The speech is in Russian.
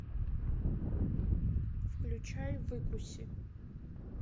включай выкуси